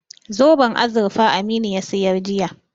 Zoben azurfa Aminu ya sayar jiya.